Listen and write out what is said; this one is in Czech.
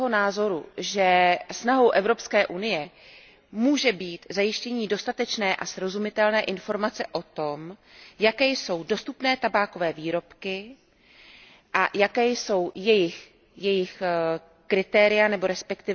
Jsem toho názoru, že snahou Evropské unie může být zajištění dostatečné a srozumitelné informace o tom, jaké jsou dostupné tabákové výrobky a jaká jsou jejich kritéria nebo resp.